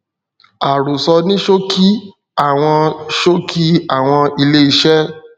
àròsọ ní ṣókí àwọn ṣókí àwọn ilé iṣẹ